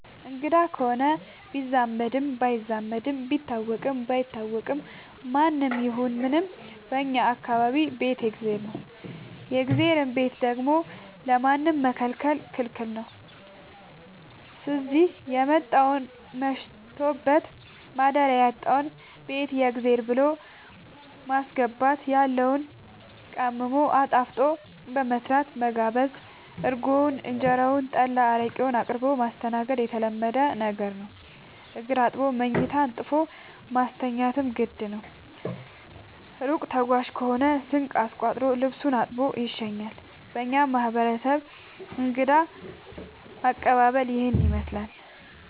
አንግዳ ከሆነ ቢዛመድም ባይዛመድም ቢታወቅም ባይታወቅም ማንም ይሁን ምንም በእኛ ማህበረሰብ ቤት የእግዜር ነው። የእግዜርን ቤት ደግሞ ለማንም መከልከል ክልክል ነው ስዚህ የመጣውን መሽቶበት ማደሪያ ያጣውን ቤት የእግዜር ብሎ በማስገባት ያለውን ቀምሞ አጣፍጦ በመስራት መጋበዝ እርጎውን እንጀራውን ጠላ አረቄውን አቅርቦ ማስተናገድ የተለመደ ነገር ነው። እግር አጥቦ መኝታ አንጥፎ ማስተኛትም ግድ ነው። እሩቅ ተጓዥ ከሆነ ስንቅ አስቋጥሮ ልሱን አሳጥቦ ይሸኛል። በእኛ ማህረሰብ እንግዳ አቀባሀል ይህንን ይመስላል።